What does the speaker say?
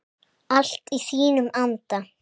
Allt í þínum anda.